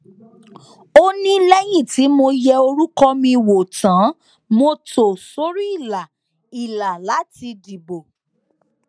ó ní lẹyìn tí mo yẹ orúkọ mi wò tán mo tò sórí ìlà ìlà láti dìbò